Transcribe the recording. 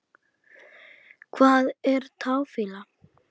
Hvað er táfýla?